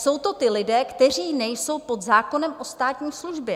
Jsou to ti lidé, kteří nejsou pod zákonem o státní službě.